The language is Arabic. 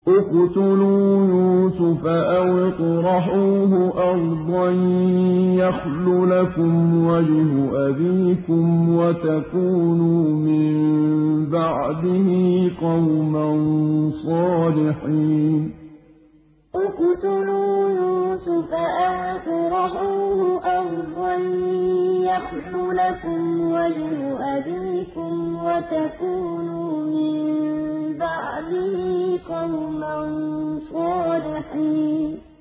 اقْتُلُوا يُوسُفَ أَوِ اطْرَحُوهُ أَرْضًا يَخْلُ لَكُمْ وَجْهُ أَبِيكُمْ وَتَكُونُوا مِن بَعْدِهِ قَوْمًا صَالِحِينَ اقْتُلُوا يُوسُفَ أَوِ اطْرَحُوهُ أَرْضًا يَخْلُ لَكُمْ وَجْهُ أَبِيكُمْ وَتَكُونُوا مِن بَعْدِهِ قَوْمًا صَالِحِينَ